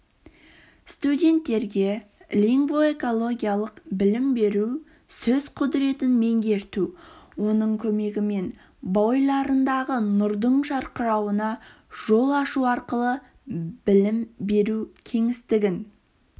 студенттерге лингвоэкологиялық білім беру сөз құдіретін меңгерту оның көмегімен бойларындағы нұрдың жарқырауына жол ашу арқылы білім беру кеңістігін